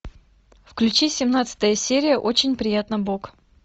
включи семнадцатая серия очень приятно бог